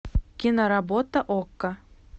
киноработа окко